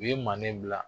U ye manden bila